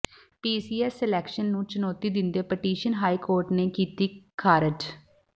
PCS selection ਨੂੰ ਚੁਨੌਤੀ ਦਿੰਦੀ ਪਟੀਸ਼ਨ ਹਾਈ ਕੋਰਟ ਨੇ ਕੀਤੀ ਖ਼ਾਰਜ